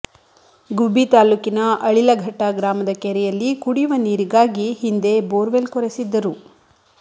ಗುಬ್ಬಿ ತಾಲ್ಲೂಕಿನ ಅಳಿಲಘಟ್ಟ ಗ್ರಾಮದ ಕೆರೆಯಲ್ಲಿ ಕುಡಿಯುವ ನೀರಿಗಾಗಿ ಹಿಂದೆ ಬೋರ್ವೆಲ್ ಕೊರೆಸಿದ್ದರು